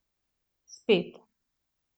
Spet.